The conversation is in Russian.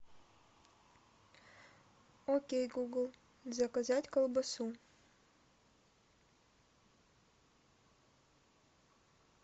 окей гугл заказать колбасу